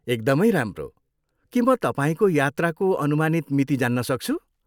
एकदमै राम्रो! के म तपाईँको यात्राको अनुमानित मिति जान्न सक्छु?